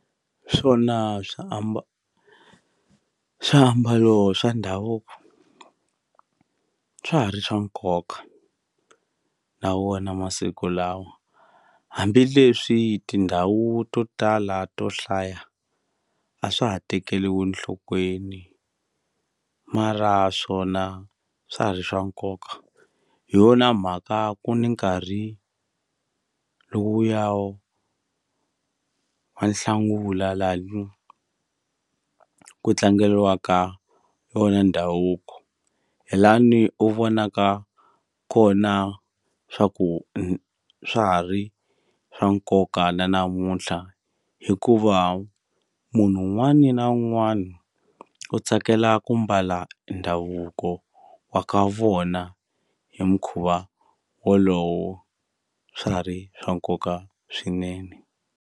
Swona swiambalo swa ndhavuko swa ha ri swa nkoka na wona masiku lawa hambileswi tindhawu to tala to hlaya a swa ha tekeliwi nhlokweni mara swona swa ha ri swa nkoka hi yona mhaka ku ni nkarhi lowuya wo wa nhlangula lani ku tlangeliwaka wona ndhavuko hi lani u vonaka kona swa ku swa ha ri swa nkoka na namuntlha hikuva munhu wun'wani na wun'wani u tsakela ku mbala ndhavuko wa ka vona hi mukhuva wolowo swa ha ri swa nkoka swinene.